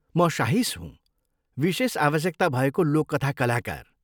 म साहिश हुँ, विशेष आवश्यकता भएको लोककथा कलाकार।